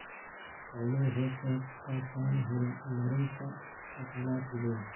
Xooluhu waxay ka qayb qaataan horumarinta dhaqaalaha tuulooyinka.